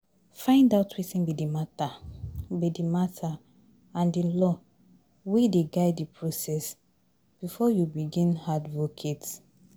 Find out wetin be di matter be di matter and di law wey dey guide the process before you begin advocate